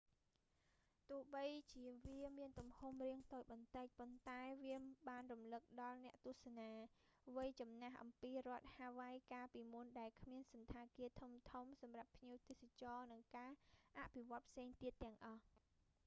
បើទោះជាវាមានទំហំរាងតូចបន្តិច ប៉ុន្តែវាបានរំលឹកដល់អ្នកទស្សនា វ័យចំណាស់អំពីរដ្ឋហាវ៉ៃកាលពីមុនដែលគ្មានសណ្ឋាគារធំៗសម្រាប់ភ្ញៀវទេសចរណ៍ និងការអភិវឌ្ឍន៍ផ្សេងទៀតទាំងអស់